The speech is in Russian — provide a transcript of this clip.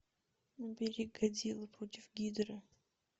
набери годзилла против гидры